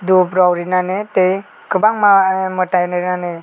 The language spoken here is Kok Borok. dop rok rinani tei kobangma mwtai rinani.